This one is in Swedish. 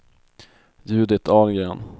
Judit Ahlgren